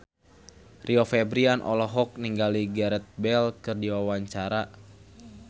Rio Febrian olohok ningali Gareth Bale keur diwawancara